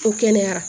Ko kɛnɛyara